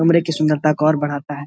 कमरे के सुन्दरता को और बढ़ाता है।